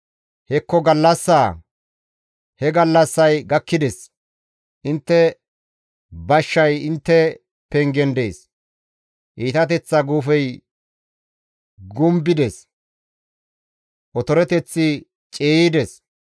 « ‹Hekko gallassaa! He gallassay gakkides! Intte bashshay intte pengen dees! Iitateththa guufey gumbides; otoreteththi ciiyides.